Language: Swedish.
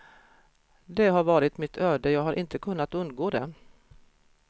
Det har varit mitt öde, jag har inte kunnat undgå det.